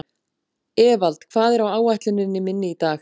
Evald, hvað er á áætluninni minni í dag?